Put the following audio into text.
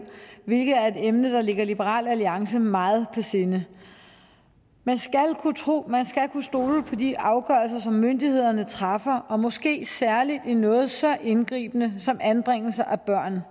hvilket er et emne der ligger liberal alliance meget på sinde man skal kunne stole på de afgørelser som myndighederne træffer og måske særligt i noget så indgribende som anbringelse af